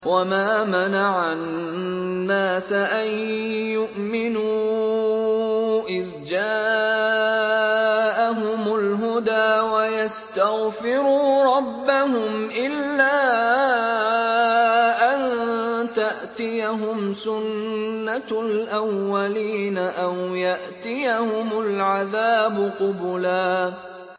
وَمَا مَنَعَ النَّاسَ أَن يُؤْمِنُوا إِذْ جَاءَهُمُ الْهُدَىٰ وَيَسْتَغْفِرُوا رَبَّهُمْ إِلَّا أَن تَأْتِيَهُمْ سُنَّةُ الْأَوَّلِينَ أَوْ يَأْتِيَهُمُ الْعَذَابُ قُبُلًا